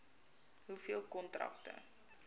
hoeveel kontrakte